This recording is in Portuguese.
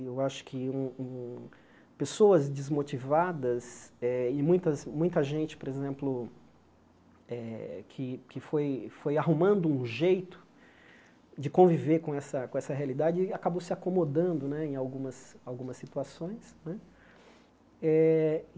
Eu acho que um um pessoas desmotivadas eh e muitas muita gente, por exemplo, eh que que foi foi arrumando um jeito de conviver com essa com essa realidade, acabou se acomodando né em algumas algumas situações né. Eh